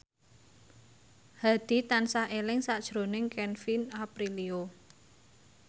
Hadi tansah eling sakjroning Kevin Aprilio